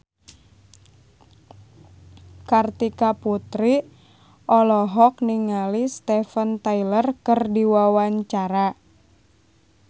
Kartika Putri olohok ningali Steven Tyler keur diwawancara